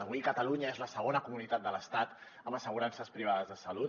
avui catalunya és la segona comunitat de l’estat amb assegurances privades de salut